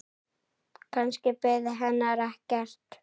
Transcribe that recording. Kannski biði hennar ekkert.